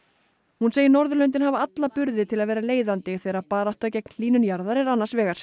hún segir Norðurlöndin hafa alla burði til að vera leiðandi þegar barátta gegn hlýnun jarðar er annars vegar